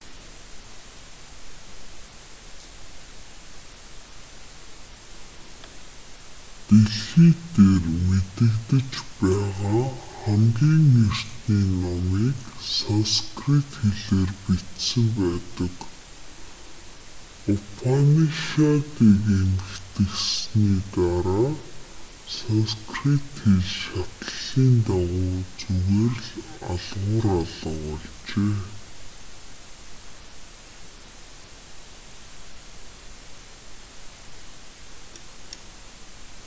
дэлхий дээр мэдэгдэж байгаа хамгийн эртний номыг санскрит хэлээр бичсэн байдаг упанишадыг эмхэтгэсний дараа санскрит хэл шатлалын дагуу зүгээр л алгуур алга болжээ